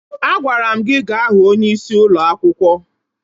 Agwara m gị gaa hụ onyeisi ụlọ akwụkwọ!